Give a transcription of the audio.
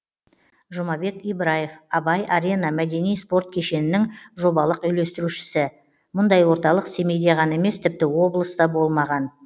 жұмабек ибраев абай арена мәдени спорт кешенінің жобалық үйлестірушісі мұндай орталық семейде ғана емес тіпті облыста болмаған